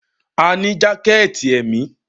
A ní jákẹ̀tì èmi.